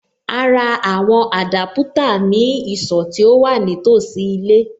A ra àwọn Adaputa ní ìsọ̀ tí ó wà ní tòsí ilé.